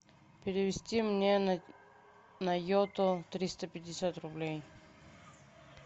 перевести мне на йоту триста пятьдесят рублей